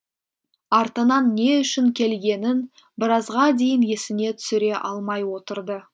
артынан не үшін келгенін біразға дейін есіне түсіре алмай отырды